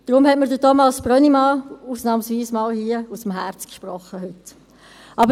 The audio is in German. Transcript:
Darum hat mir Thomas Brönnimann ausnahmsweise einmal hier aus dem Herzen gesprochen heute.